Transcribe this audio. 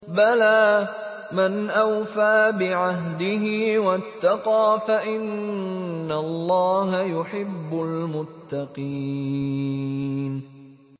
بَلَىٰ مَنْ أَوْفَىٰ بِعَهْدِهِ وَاتَّقَىٰ فَإِنَّ اللَّهَ يُحِبُّ الْمُتَّقِينَ